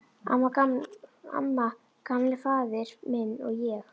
Amma, Gamli faðir minn, og ég.